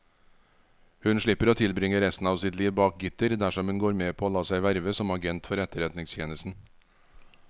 Hun slipper å tilbringe resten av sitt liv bak gitter dersom hun går med på å la seg verve som agent for etterretningstjenesten.